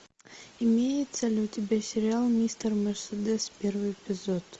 имеется ли у тебя сериал мистер мерседес первый эпизод